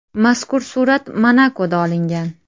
Mazkur surat Monakoda olingan.